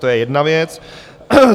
To je jedna věc.